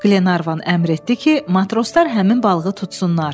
Glenarvan əmr etdi ki, matroslar həmin balığı tutsunlar.